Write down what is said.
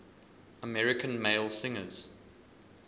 american male singers